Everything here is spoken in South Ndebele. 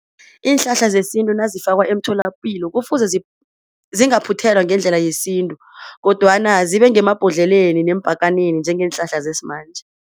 Iinhlahla zesintu nazifakwa emtholapilo kufuze zingaphuthelwa ngendlela yesintu kodwana zibe ngemabhodleleni nempakaneni njengeenhlahla zesimanje.